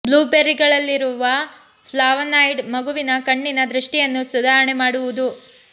blue ಬೆರ್ರಿಗಳಲ್ಲಿ ಇರುವ flavonoid ಮಗುವಿನ ಕಣ್ಣಿನ ದೃಷ್ಟಿಯನ್ನು ಸುಧಾರಣೆ ಮಾಡುವುದು